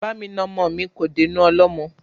Bá mi na ọmọ mi kò dénú ọlọ́mọ